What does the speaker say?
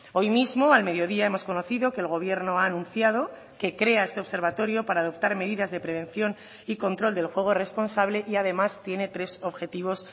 hoy mismo al mediodía hemos conocido que el gobierno ha anunciado que crea este observatorio para adoptar medidas de prevención y control del juego responsable y además tiene tres objetivos